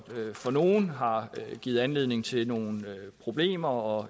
for nogle har givet anledning til nogle problemer og